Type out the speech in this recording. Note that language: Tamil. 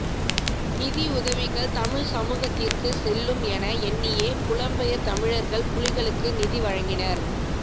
நிதியுதவிகள் தமிழ் சமூகத்திற்கு செல்லும் என எண்ணியே புலம்பெயர் தமிழர்கள் புலிகளுக்கு நிதி வழங்கினர்